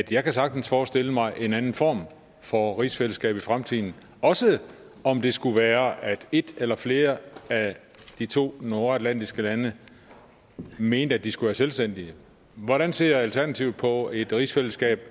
jeg kan sagtens forestille mig en anden form for rigsfællesskab i fremtiden også om det skulle være at et eller flere af de to nordatlantiske lande mente at de skulle være selvstændige hvordan ser alternativet på et rigsfællesskab